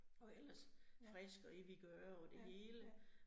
Og ellers frisk og i vigør og det hele